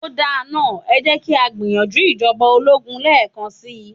Ó da náà, ẹ jẹ́ kí á gbìyànjú ìjọba ológun lẹ́ẹ́kan si.